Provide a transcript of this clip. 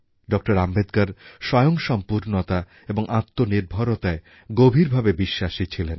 doctor Ambedkar স্বয়ংসম্পূর্ণতা এবং আত্মনির্ভরতায় গভীরভাবে বিশ্বাসী ছিলেন